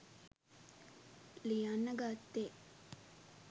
ලියන්න ගත්තෙ.